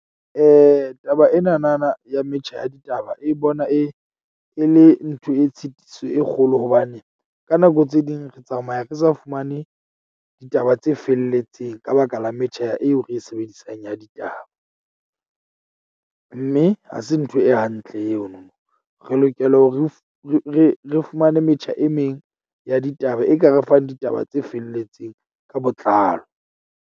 Taba ena na na ya metjha ya ditaba e bona e, e le ntho e tshitiso e kgolo. Hobane ka nako tse ding ke tsamaya ke sa fumane ditaba tse felletseng ka baka la metjha eo ke e sebedisang ya ditaba. Mme ha se ntho e hantle eno. Re lokela hore re re fumane metjha e meng ya ditaba e ka re fang ditaba tse felletseng ka botlalo.